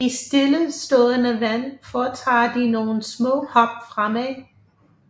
I stillestående vand foretager de nogle små hop fremad